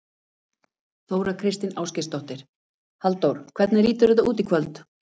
Þóra Kristín Ásgeirsdóttir: Halldór, hvernig lítur þetta út í kvöld?